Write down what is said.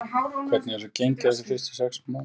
En hvernig hefur svo gengið á þessum fyrstu sex mánuðum?